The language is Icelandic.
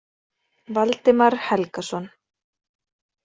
Valdimar Helgason.